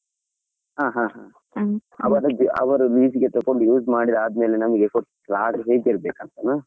ಹಾ ಹಾ ಅವ್ರದ್ದು ಅವರು lease ಗೆ ತೊಕೊಂಡ್ use ಮಾಡಿ ಆದ್ಮೇಲೆ .